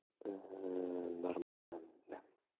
нормально да